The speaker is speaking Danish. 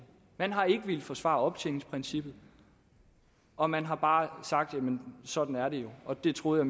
man har ikke villet forsvare optjeningsprincippet og man har bare sagt jamen sådan er det jo og det troede